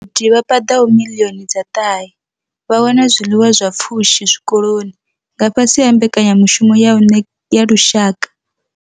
Vhagudi vha paḓaho miḽioni dza ṱahe vha wana zwiḽiwa zwa pfushi zwikoloni nga fhasi ha Mbekanya mushumo ya u ne ya Lushaka.